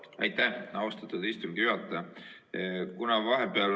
Aitäh, austatud istungi juhataja!